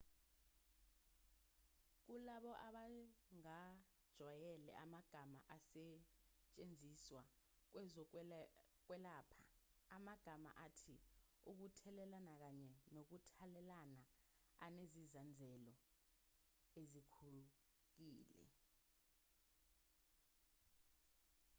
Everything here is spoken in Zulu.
kulabo abangajwayele amagama asetshenziswa kwezokwelapha amagama athi ukuthelelana kanye nokuthathelana anezinzazelo ezikhukile